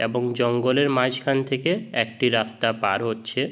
এবং জঙ্গলের মাঝখান থেকে একটি রাস্তা পার হচ্ছে ।